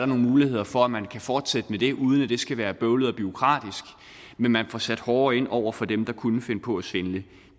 nogle muligheder for at man kan fortsætte med det uden at det skal være bøvlet og bureaukratisk men man får sat hårdere ind over for dem der kunne finde på at svindle